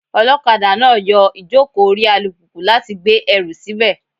Olokada náà yọ ìjókòó orí alùpùpù láti gbé ẹrù síbẹ̀.